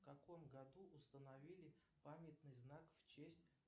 в каком году установили памятный знак в честь